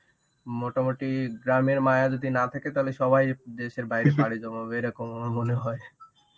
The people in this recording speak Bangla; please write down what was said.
মোটামুটি গ্রামের মায়া যদি না থাকে তাহলে সবাই দেশের বাইরে পাড়ি জমাবে, এরকম আমার মনে হয়.